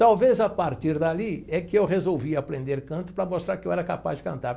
Talvez, a partir dali, é que eu resolvi aprender canto para mostrar que eu era capaz de cantar.